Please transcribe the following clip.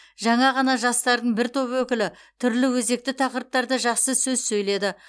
жаңа ғана жастардың бір топ өкілі түрлі өзекті тақырыптарда жақсы сөз сөйледі